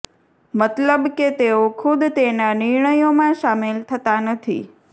મતલબ કે તેઓ ખુદ તેના નિર્ણયોમાં સામેલ થતા નથી